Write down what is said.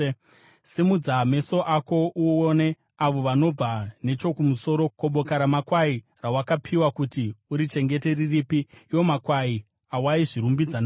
Simudza meso ako uone avo vanobva nechokumusoro. Ko, boka ramakwai rawakapiwa kuti urichengete riripi, iwo makwai awaizvirumbidza nawo?